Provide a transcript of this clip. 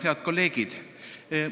Head kolleegid!